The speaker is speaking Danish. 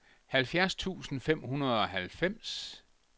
halvfjerds tusind fem hundrede og halvfems